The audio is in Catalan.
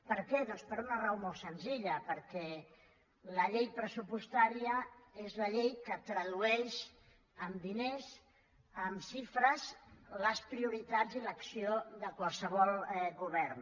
per què doncs per una raó molt senzilla perquè la llei pressupostària és la llei que tradueix en diners en xifres les prioritats i l’acció de qualsevol govern